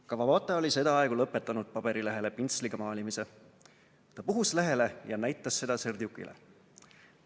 Kawabata oli sedaaegu lõpetanud paberilehele pintsliga maalimise, ta puhus lehele ja näitas seda Serdjukile.